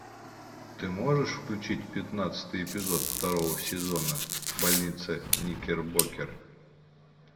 ты можешь включить пятнадцатый эпизод второго сезона больница никербокер